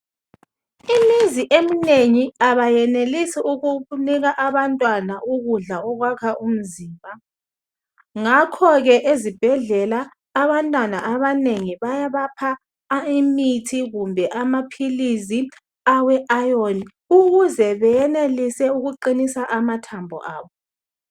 Imizi eminengi abayenelisi ukunika abantwana ukudla okwakha umzimba, ngakho-ke ezibhedlela abantwana abanengi bayabapha imithi kumbe amaphilisi awe ayoni ukuze beyenelise ukuqinisa amathambo abo.